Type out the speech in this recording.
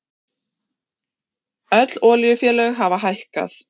Öll olíufélög hafa hækkað